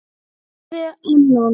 leika við annan